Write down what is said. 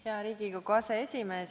Hea Riigikogu aseesimees!